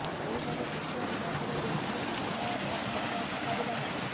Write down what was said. ସେହିପରି ଦ୍ୱିତୀୟ ମ୍ୟାଚରେ ବେଲଜିୟମ ସହ ପାନାମାର ମୁକାବିଲା ହେବ